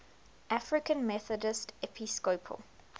african methodist episcopal